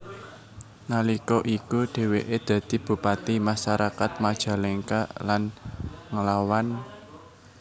Nalika iku dheweke dadi bupati masyarakat Majalengka lan nglawan